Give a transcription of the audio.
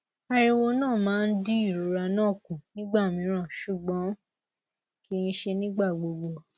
ariwo na ma n di irora na ku nigba miran ṣugbọn kii ṣe nigbagbogbo